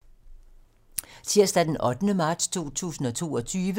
Tirsdag d. 8. marts 2022